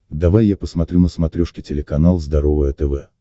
давай я посмотрю на смотрешке телеканал здоровое тв